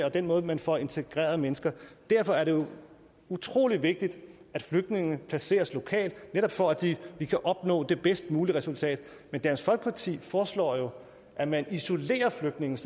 og den måde man får integreret mennesker på derfor er det jo utrolig vigtigt at flygtningene placeres lokalt netop for at vi vi kan opnå det bedst mulige resultat men dansk folkeparti foreslår at man isolerer flygtninge